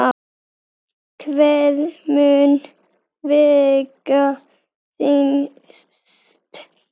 Hvað mun vega þyngst?